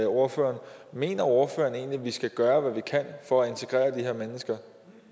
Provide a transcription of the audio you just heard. ordføreren mener ordføreren egentlig at vi skal gøre hvad vi kan for at integrere de her mennesker